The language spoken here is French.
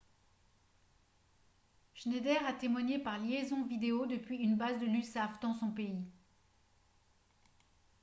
schneider a témoigné par liaison vidéo depuis une base de l'usaf dans son pays